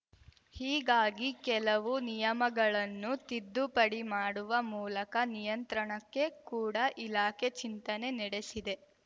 ಹೀಗಾಗಿ ಕೆಲವು ನಿಯಮಗಳನ್ನು ತಿದ್ದುಪಡಿ ಮಾಡುವ ಮೂಲಕ ನಿಯಂತ್ರಣಕ್ಕೆ ಕೂಡ ಇಲಾಖೆ ಚಿಂತನೆ ನೆಡೆಸಿದೆ